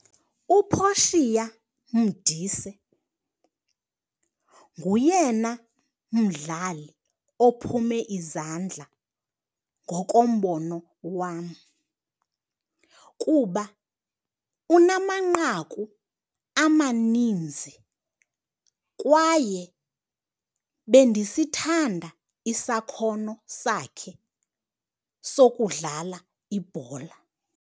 UPortia Modise nguyena mdlali ophume izandla ngokombono wam kuba unamanqaku amaninzi kwaye bendisithanda isakhono sakhe sokudlala ibhola.